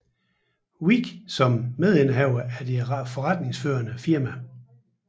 Hvidt som medindehaver af det forretningsførende firma